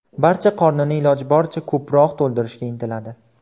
Barcha qornini iloji boricha ko‘proq to‘ldirishga intiladi.